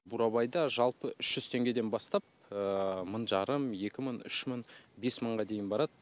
бурабайда жалпы үш жүз теңгеден бастап мың жарым екі мың үш мың бес мыңға дейін барады